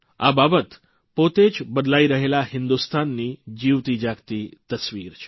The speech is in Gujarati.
આ બાબત પોતે જ બદલાઇ રહેલા હિન્દુસ્તાનની જીવતી જાગતી તસ્વીર છે